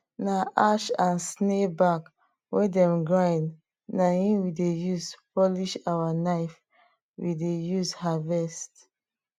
na ash and snail back wey dem grind na em we dey use polish our knife we dey use harvest